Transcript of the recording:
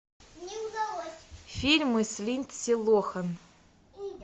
фильмы с линдси лохан